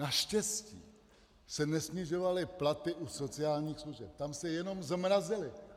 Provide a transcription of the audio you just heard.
Naštěstí se nesnižovaly platy u sociálních služeb, tam se jenom zmrazily.